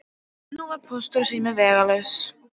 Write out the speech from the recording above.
Nú var Póstur og sími vegalaus.